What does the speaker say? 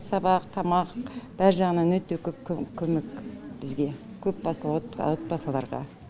сабақ тамақ бәр жағынан өте көп көмек бізге көпбасылы отбасыларға